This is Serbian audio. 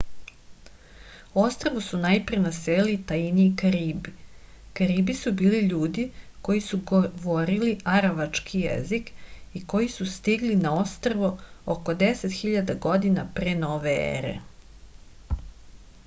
ostrvo su najpre naselili taini i karibi karibi su bili ljudi koji su govorili aravački jezik i koji su stigli na ostrvo oko 10.000 godina pre nove ere